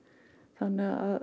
þannig að